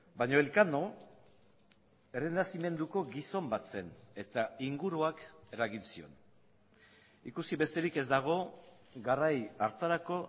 baina elkano errenazimenduko gizon bat zen eta inguruak eragin zion ikusi besterik ez dago garai hartarako